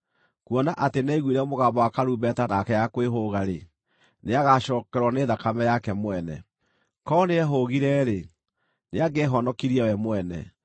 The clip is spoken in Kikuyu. Kuona atĩ nĩaiguire mũgambo wa karumbeta na akĩaga kwĩhũga-rĩ, nĩagacookererwo nĩ thakame yake mwene. Korwo nĩehũũgire-rĩ, nĩangĩehonokirie we mwene.